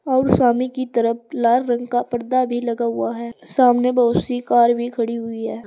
और सामने की तरफ लाल रंग का पर्दा भी लगा हुआ है सामने बहुत सी कार भी खड़ी हुई है।